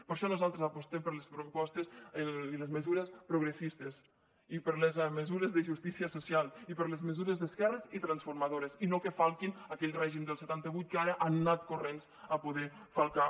per això nosaltres apostem per les propostes i les mesures progressistes i per les mesures de justícia social i per les mesures d’esquerres i transformadores i no que falquin aquell règim del setanta vuit que ara han anat corrents a poder falcar